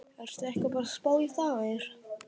Ertu ekki bara að spá í þær?